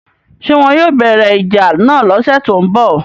ṣé wọn yóò bẹ̀rẹ̀ ìjà náà lọ́sẹ̀ tó ń bọ̀